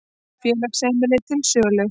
Félagsheimili til sölu